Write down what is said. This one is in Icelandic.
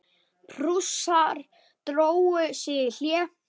Prússar drógu sig í hlé.